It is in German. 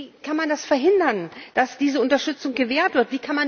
Wie kann man verhindern, dass diese Unterstützung gewährt wird?